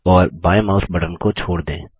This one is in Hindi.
और बायें माउस बटन को छोड़ दें